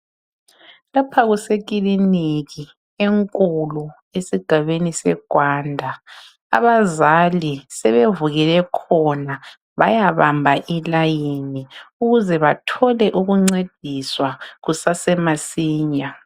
Lapha kusekiliniki enkulu esigabeni seGwanda .Abazali sebevukele khona bayabamba ilayini ,ukuze bathole ukuncediswa kusasemasinya.